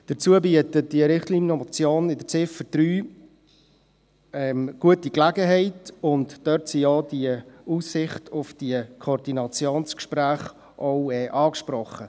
Dazu bietet die Richtlinienmotion in der Ziffer 3 eine gute Gelegenheit, und dort ist auch die Aussicht auf Koordinationsgespräche angesprochen.